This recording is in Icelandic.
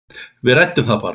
Við ræddum það bara.